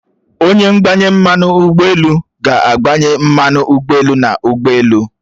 Onye ngbanye mmanụ ugboelu ga-agbanye mmanu ụgbọelu n'ụgbọelu